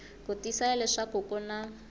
ku tiyisisa leswaku ku na